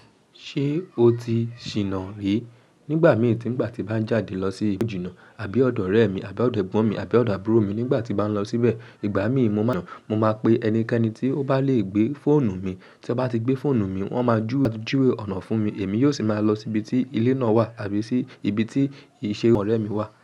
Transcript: Ṣé o ti ṣìná rí? Nígbà míì tí ìgbà tí bá ń jáde lọ sí ibi ìjìnà àbí ọ̀dọ̀ ọ̀rẹ́ mi àbí ọ̀dọ̀ ẹ̀gbọ́n mi àbí ọ̀dọ̀ àbúrò mi nígbà tí bá ń lọ síbẹ̀, ìgbà míì mo máa ń yàn, mo máa pe ẹnikẹ́ni tí ó bá lè gbé fóònù mi, tí wọ́n bá ti gbé fóònù mi, wọ́n máa júwò ọ̀nà fún mi èmi yóò sì máa lọ síbi tí ilé náà wà àbí sì ibi tí ìṣe ọ̀rẹ́ mi wà.